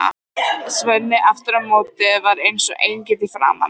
Svenni aftur á móti var eins og engill í framan.